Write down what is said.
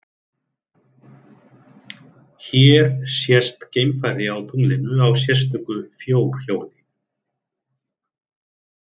Hér sést geimfari á tunglinu á sérstöku fjórhjóli.